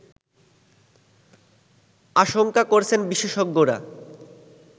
আশঙ্কা করছেন বিশেষজ্ঞরা